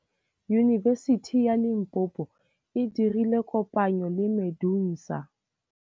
Yunibesiti ya Limpopo e dirile kopanyô le MEDUNSA.